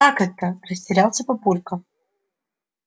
как это растерялся папулька